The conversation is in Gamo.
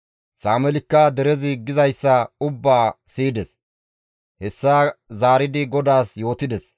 Sameelikka derezi gizayssa ubbaa siyides; hessa zaaridi GODAAS yootides.